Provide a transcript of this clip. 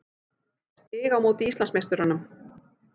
Stig á móti Íslandsmeisturunum.